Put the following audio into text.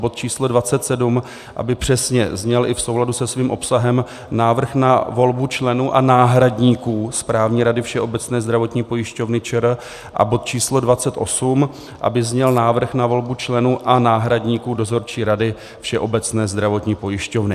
Bod číslo 27 aby přesně zněl i v souladu se svým obsahem Návrh na volbu členů a náhradníků správní rady Všeobecné zdravotní pojišťovny ČR a bod číslo 28 aby zněl Návrh na volbu členů a náhradníků dozorčí rady Všeobecné zdravotní pojišťovny.